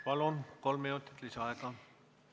Palun, kolm minutit lisaaega!